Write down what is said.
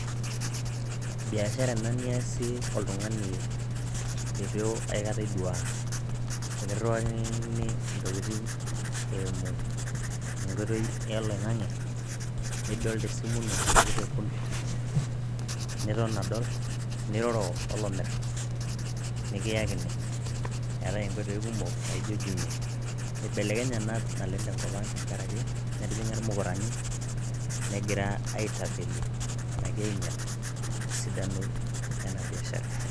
Biashara ena niasie oltung`ani leitu aikata idua ekirriwakini ntokitin eimu enkoitoi oloing`ang`e[ nidol tesimu ino enake te kompyuta niton adol niroro olomirr nikiyakini, eetay nkoitoi kumok naijo jumia, ibelekenye naleng tenkop ang tenkaraki etijing`a ilmukurani negira aitapeli enake ainyal esidano ena biashara.